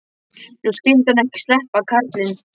Nú skyldi hann ekki sleppa, karlinn.